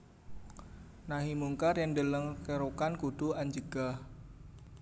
Nahi mungkar yen deleng kerukan kudu anjegah